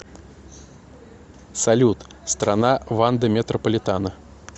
салют страна ванда метрополитано